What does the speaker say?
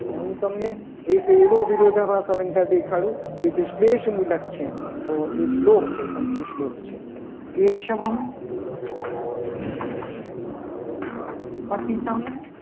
પણ હું તમને એક એવો વિરોધાભાસ અલંકાર દેખાડો. કે જે શ્રેષ્ઠ મુલક છે. તો એ શ્લોક છે. સંસ્કૃત શ્લોક છે. કેશવમ